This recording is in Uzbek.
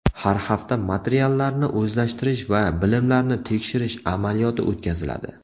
Har hafta materiallarni o‘zlashtirish va bilimlarni tekshirish amaliyoti o‘tkaziladi.